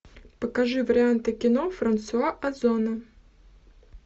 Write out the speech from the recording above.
покажи варианты кино франсуа озона